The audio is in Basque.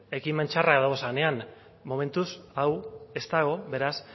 ekimen txarrak dagozanean momentuz hau ez dago beraz